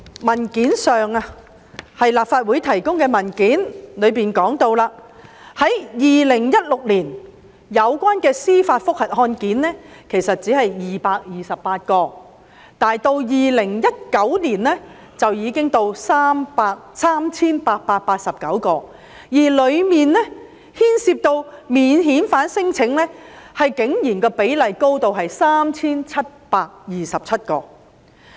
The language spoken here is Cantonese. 根據立法會文件提供的數字，在2016年，有關的司法覆核案件只是228宗，但2019年已達至 3,889 宗，當中牽涉免遣返聲請的個案竟然多達 3,727 宗。